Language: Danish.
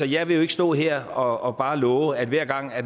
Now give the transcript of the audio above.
jeg vil ikke stå her og bare love at hver gang